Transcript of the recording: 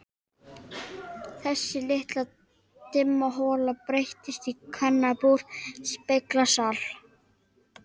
Þessi litla dimma hola breyttist í kvennabúr, speglasal.